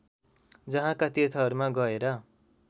जहाँका तीर्थहरूमा गएर